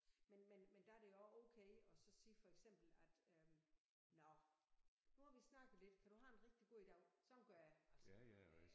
Men men men der er det også okay at så sige for eksempel at øh nåh nu har vi snakket lidt kan du have en rigtig god dag sådan gør jeg altså